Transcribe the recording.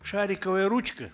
шариковая ручка